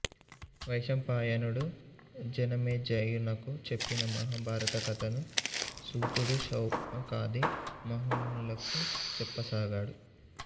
వైశంపాయనుడు జనమేజయునకు చెప్పిన మహాభారతకథను సూతుడు శౌనకాది మహామునులకు చెప్పసాగాడు